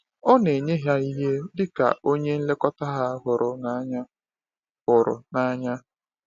Ọ na-enye ha ihe dị ka onye nlekọta ha hụrụ n’anya. hụrụ n’anya.